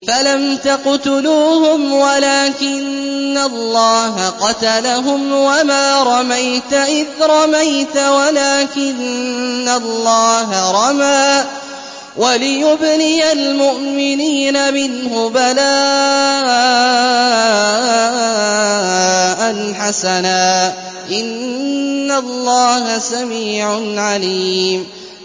فَلَمْ تَقْتُلُوهُمْ وَلَٰكِنَّ اللَّهَ قَتَلَهُمْ ۚ وَمَا رَمَيْتَ إِذْ رَمَيْتَ وَلَٰكِنَّ اللَّهَ رَمَىٰ ۚ وَلِيُبْلِيَ الْمُؤْمِنِينَ مِنْهُ بَلَاءً حَسَنًا ۚ إِنَّ اللَّهَ سَمِيعٌ عَلِيمٌ